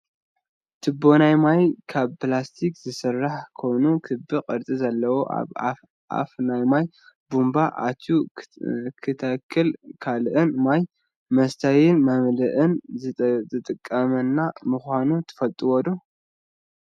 ትቦ ናይ ማይ ካብ ፕላስቲክ ዝስራሕ ኮይኑ ክቢ ቅርፂ ዘለዎ ኣብ ኣፍ ናይ ማይ ቡንባ ኣትዩ ንተክልን ካልእን ማይ መስተይን መምልእን ዝጠቅመና ምኳኑ ትፈልጡ ዶ?